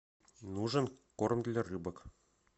нужен корм для рыбок